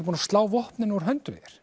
búinn að slá vopnin úr höndum þér